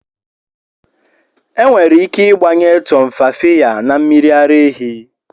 Enwere ike ịgbanye Tumfafiya na mmiri ara ehi.